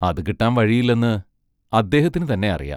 അതു കിട്ടാൻ വഴിയില്ലെന്ന് അദ്ദേഹത്തിനുതന്നെ അറിയാം.